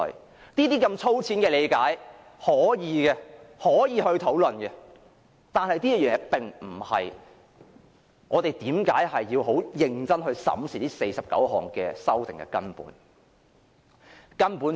我們大可以這樣粗淺地理解和討論，但這並非我們要認真審視這49項修訂的根本原因。